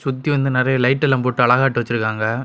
சுத்தி வந்து நெறைய லைட் எல்லாம் போட்டு அழகாட்டு வச்சிருக்காங்க.